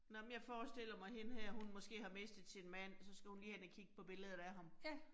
Nåh men jeg forestiller mig hende her hun måske har mistet sin mand, så skal hun lige hen og kigge på billedet af ham